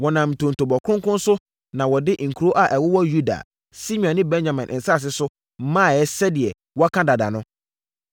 Wɔnam ntontobɔ kronkron so na wɔde nkuro a ɛwowɔ Yuda, Simeon ne Benyamin nsase so maeɛ sɛdeɛ wɔaka dada no.